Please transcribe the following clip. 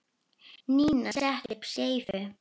Nína setti upp skeifu.